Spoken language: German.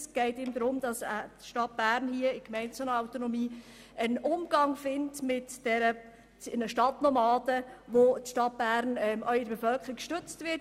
Es geht ihm darum, dass die Stadt Bern hier in Gemeindeautonomie einen Umgang findet mit ihren Stadtnomaden, der auch in der Bevölkerung gestützt wird.